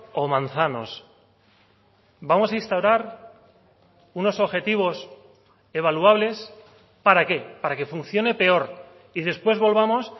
o manzanos vamos a instaurar unos objetivos evaluables para qué para que funcione peor y después volvamos